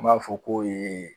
An b'a fɔ k'o ye